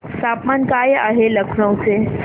तापमान काय आहे लखनौ चे